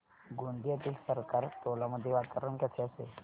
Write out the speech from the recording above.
गोंदियातील सरकारटोला मध्ये वातावरण कसे असेल